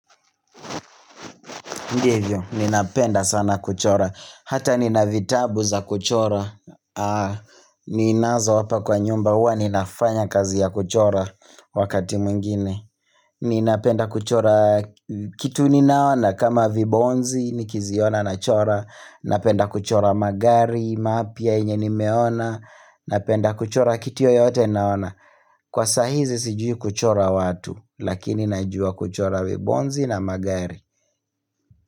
Ndivyo, ninapenda sana kuchora, hata nina vitabu za kuchora, ninazo hapa kwa nyumba huwa ninafanya kazi ya kuchora wakati mwingine. Ninapenda kuchora kitu ninaona kama vibonzi, nikiziona nachora, napenda kuchora magari, mapya yenye nimeona, napenda kuchora kitu yoyote ninaona. Kwa saa hizi sijui kuchora watu, lakini najua kuchora vibonzi na magari.